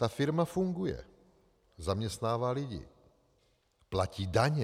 Ta firma funguje, zaměstnává lidi, platí daně.